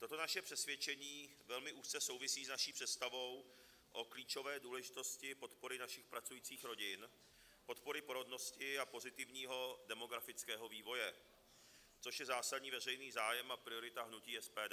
Toto naše přesvědčení velmi úzce souvisí s naší představou o klíčové důležitosti podpory našich pracujících rodin, podpory porodnosti a pozitivního demografického vývoje, což je zásadní veřejný zájem a priorita hnutí SPD.